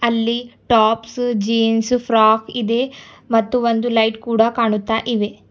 ಅಲ್ಲಿ tops jeans frock ಇದೆ ಮತ್ತು ಒಂದು ಲೈಟ್ ಕೂಡ ಕಾಣುತ್ತಾ ಇವೆ.